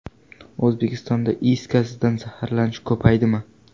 O‘zbekistonda is gazidan zaharlanish ko‘paydimi?.